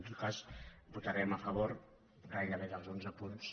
en tot cas votarem a favor gairebé dels onze punts